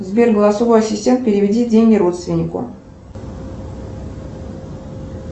сбер голосовой ассистент переведи деньги родственнику